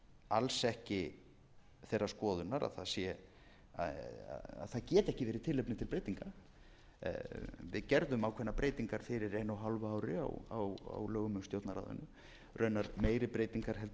alls ekki þeirrar skoðunar að það geti ekki verið tilefni til breytinga við gerðum ákveðnar breytingar fyrir einu og hálfu ári á lögum um stjórnarráðið raunar meiri breytingar en eru boðaðar